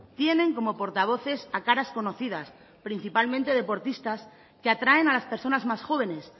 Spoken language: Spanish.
tienen como portavoces a caras conocidas principalmente deportistas que atraen a las personas más jóvenes